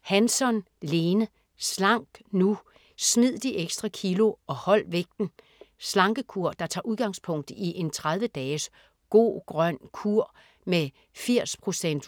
Hansson, Lene: Slank nu!: smid de ekstra kilo og hold vægten Slankekur der tager udgangspunkt i en 30 dages "Go-grøn kur" med 80%